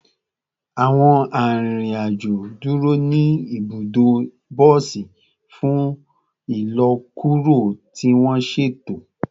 Awọn arinrin-ajo duro ni ibudo bosi fun ilọkuro ti wọn ṣeto